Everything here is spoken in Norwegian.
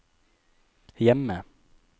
hjemme